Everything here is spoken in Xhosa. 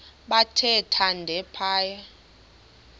bathe thande phaya